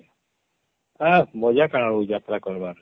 ଆଃ ମଜା କାଣା ବଲବୁ ଯାତ୍ରା କରିବାର